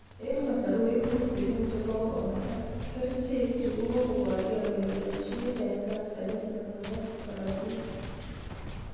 En kosorwek tutigin chekokobata, kerichek chu kokoborge kole boisei en kansa initok nebo korortik